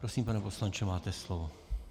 Prosím, pane poslanče, máte slovo.